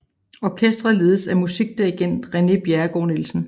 Orkestret ledes af musikdirigent René Bjerregaard Nielsen